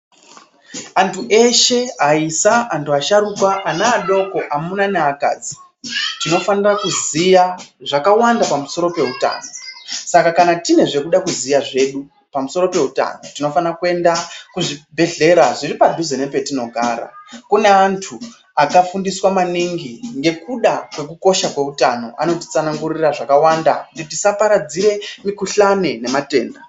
Antu eshe aisa ,antu asharuka ,ana adoko ,amuna ngeakadzi, tinofanira kuziya zvakawanda pamusoro peutano, saka kna tine zvatinoda kuziya zvedu tinofanira kuenda kuzvibhehlera zviripadhuze nepatinogara .Kune antu akafundisa mwaningi ngekuda kwekukosha kweutano. Anotsanangurira zvakawanda kuti tisaparadzire mukuhlani nematenda.